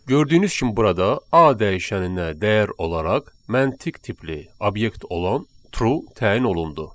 Gördüyünüz kimi burada A dəyişəninə dəyər olaraq məntiq tipli obyekt olan true təyin olundu.